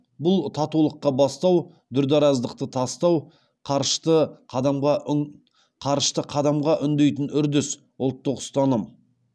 бұл татулыққа бастау дүрдараздықты тастау қарышты қадамға үндейтін үрдіс ұлттық ұстаным